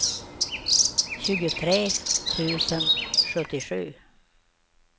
tjugotre tusen sjuttiosju